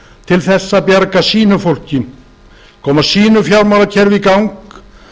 til þess að bjarga sínu fólki koma sínu fjármálakerfi í gang